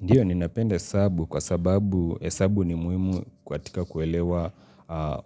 Ndiyo ninapenda hesabu kwa sababu hesabu ni muhimu kwatika kuelewa